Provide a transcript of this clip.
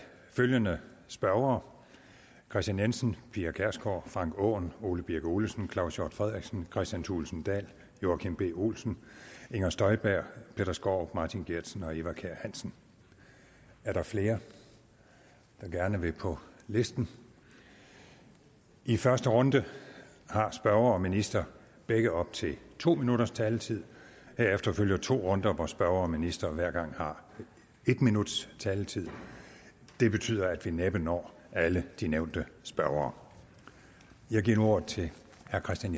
følgende spørgere kristian jensen pia kjærsgaard frank aaen ole birk olesen claus hjort frederiksen kristian thulesen dahl joachim b olsen inger støjberg peter skaarup martin geertsen eva kjer hansen er der flere der gerne vil på listen i første runde har spørger og minister begge op til to minutters taletid herefter følger to runder hvor spørger og minister hver gang har en minuts taletid det betyder at vi næppe når alle de nævnte spørgere jeg giver nu ordet til herre kristian